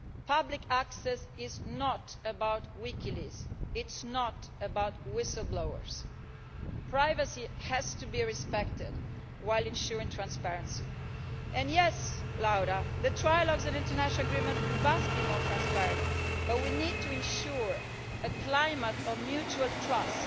Public access is not about Wikileaks and it is not about whistle-blowers. Privacy has to be respected, while ensuring transparency. And yes, Laura, the trilogues and international agreements must be more transparent, but we need to ensure a climate of mutual trust